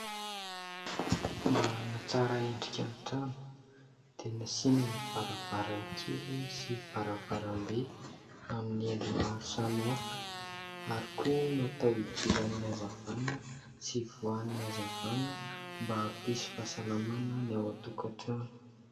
Mba ahatsara endrika ny trano dia nasiany varavaran-kely sy varavaram-be amin'ny endriny maro samy hafa ary koa natao idiran'ny hazavana sy ivoan'ny hazavana mba hampisy fahasalamana ny ao a-tokatrano.